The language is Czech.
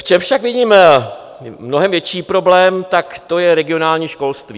V čem však vidím mnohem větší problém, tak to je regionální školství.